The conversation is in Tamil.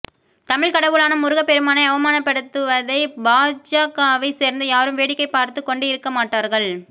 தமிழ் கடவுளான முருக பெருமானை அவமானப்படுத்துவதை பாஜகவைச் சோ்ந்த யாரும் வேடிக்கை பாா்த்துக் கொண்டு இருக்க மாட்டாா்கள்